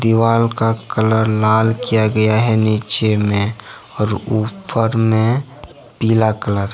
दीवाल का कलर लाल किया गया है नीचे में और ऊपर में पीला कलर ।